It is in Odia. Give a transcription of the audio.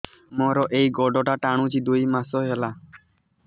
ମୋର ଏଇ ଗୋଡ଼ଟା ଟାଣୁଛି ଦୁଇ ମାସ ହେଲା